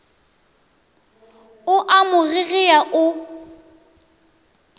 o a mo gegea o